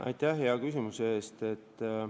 Aitäh hea küsimuse eest!